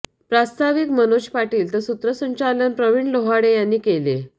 प्रास्ताविक मनोज पाटील तर सूत्रसंचालन प्रविण लोहाडे यांनी केले